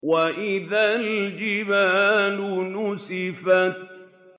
وَإِذَا الْجِبَالُ نُسِفَتْ